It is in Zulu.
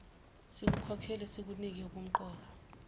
sikukholelwe sikunike ubumqoka